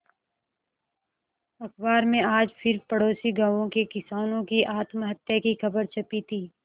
अखबार में आज फिर पड़ोसी गांवों के किसानों की आत्महत्या की खबर छपी थी